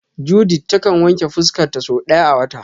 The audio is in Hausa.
Judith ta kan wanke fuska ta sau daya a wata.